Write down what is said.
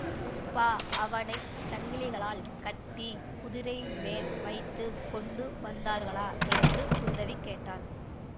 அப்பா அவனை சங்கிலிகளால் கட்டி குதிரை மேல் வைத்து கொண்டு வந்தார்களா என்று குந்தவி கேட்டாள்